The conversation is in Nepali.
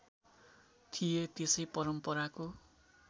थिए त्यसै परम्पराको